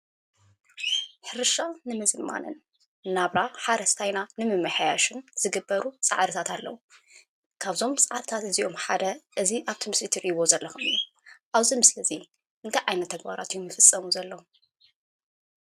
ሕርሻ ንምዝማንን ሓረስታይና ንምሕያሽ ዝግበሩ ፃዕርፈታት ኣለዉ:: ካብ እዞም ፃዕርታት እዝኦም ሓደ ኣብቲ ምስሊ ትርእይዎ ዘለኩም ኣብ እዚ ምስሊ እዚ እንታይ ዓይነት ተግበራት እዮም ዝፍፀሙ ዘለው?